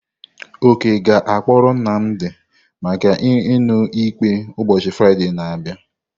Oke ga-akpọrọ Nnamdi maka iṅụ ikpe ụbọchị Fraịde na-abịa.